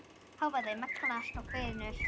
Hávaði magnast og hvinur.